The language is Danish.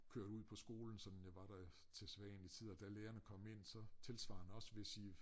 Kørte ud på skolen sådan jeg var der til sædvanlig tid og da lærerne kom ind så tilsvarende også hvis i